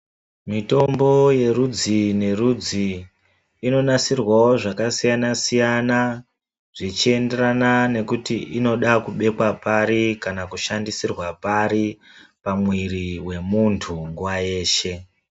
Mitombo yerudzi nerudzi inonasirwawo zvakasiyana -siyana zvichienderana nekuti inoda kubekwa pari kana kushandisirwa pari pamwiri pemuntu nguwa yeshe.